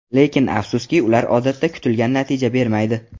Lekin afsuski, ular odatda kutilgan natija bermaydi.